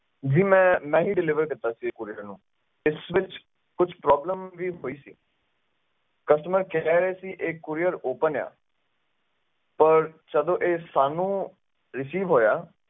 ਜੀ ਮੈਂ ਹੀ deliver ਕੀਤਾ ਸੀ courier ਨੂੰ ਤੇ ਇਸ ਵਿਚ ਕੋਈ ਵੀ problem ਹੋਈ ਸੀ customer ਕਹਿ ਰਹੇ ਸੀ ਕਿ ਇਹ courieropen ਆ ਪਰ ਜਦੋਂ ਇਹ ਸਾਨੂੰ receive ਹੋਇਆ